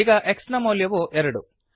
ಈಗ x ನ ಮೌಲ್ಯವು ಎರಡು